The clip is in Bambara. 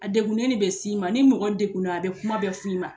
A degunnen de bɛ s'i ma ni mɔgɔ degunna a bɛ kuma bɛɛ f'i ma